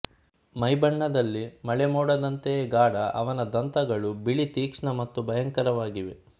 ಮೈಬಣ್ಣದಲ್ಲಿ ಮಳೆ ಮೋಡದಂತೆಯೇ ಗಾಢ ಅವನ ದಂತಗಳು ಬಿಳಿ ತೀಕ್ಷ್ಣ ಮತ್ತು ಭಯಂಕರವಾಗಿವೆ